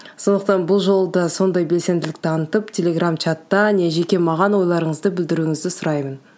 сондықтан бұл жолы да сондай бенсенділік танытып телеграм чатта не жеке маған ойларыңызды білдіруіңізді сұраймын